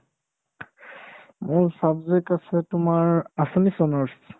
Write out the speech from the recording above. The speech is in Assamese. মোৰ subject আছে তোমাৰ assamese honours